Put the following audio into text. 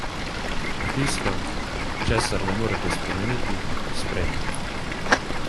Tisto, česar ne morete spremeniti, sprejmite!